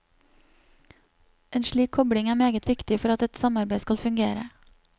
En slik kobling er meget viktig for at et samarbeid skal fungere.